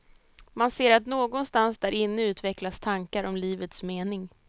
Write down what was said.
Man ser att någonstans där inne utvecklas tankar om livets mening.